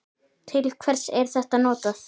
Til hvers er þetta notað?